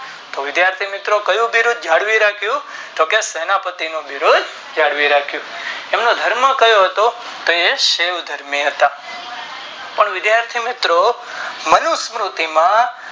તો વિધાથી મિત્રો કયું બિરુદ જાળવી રાખું તો કે સેનાએ પતિ નું બિરુદ જાળવી રાખું અને ધર્મ કયો હતો તો શિવ ધર્મી હતા પણ વિધાથી મિત્રો મનુષ્ય બુદ્ધિ માં